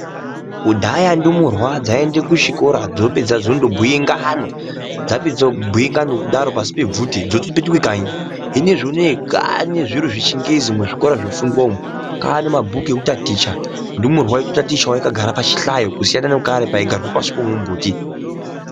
Kudhaya ndumurwa dzaienda kuchikora dzopedza ndonobhuye ngano, dzapedza kudaro pashi pebvute dzotopetuka kanyi. Hino zvinezvi kwane zviro zvechingezi zvofundwa. Kwane mabhuku ekutaticha ndumurwa yotatichawo yakagara pachihlayo kusiyana nekare paigarwa pashi pamumbuti.